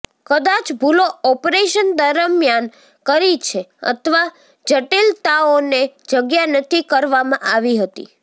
કદાચ ભૂલો ઓપરેશન દરમિયાન કરી છે અથવા જટિલતાઓને જગ્યા નથી કરવામાં આવી હતી